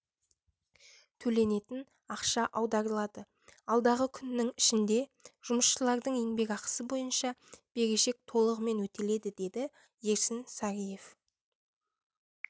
төленетін ақша аударылады алдағы күннің ішінде жұмысшылардың еңбекақысы бойынша берешек толығымен өтеледі деді ерсін сариев